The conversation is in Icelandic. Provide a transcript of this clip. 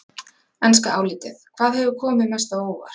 Enska álitið: Hvað hefur komið mest á óvart?